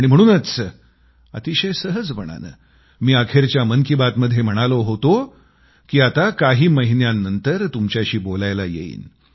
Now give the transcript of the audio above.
आणि म्हणूनच अतिशय सहजपणानं मी अखेरच्या मन की बात मध्ये म्हणालो होतो की आता काही महिन्यांनंतर तुमच्याशी बोलायला येईन